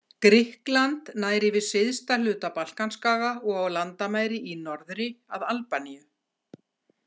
Grikkland nær yfir syðsta hluta Balkanskaga og á landamæri í norðri að Albaníu.